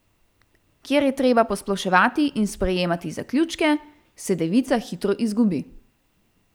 Kjer je treba posploševati in sprejemati zaključke, se devica hitro izgubi.